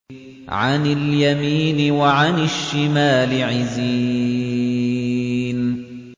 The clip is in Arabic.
عَنِ الْيَمِينِ وَعَنِ الشِّمَالِ عِزِينَ